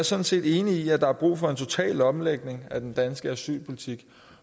sådan set enig i at der er brug for en total omlægning af den danske asylpolitik